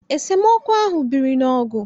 Esemokwu ahụ biri n'ọgụ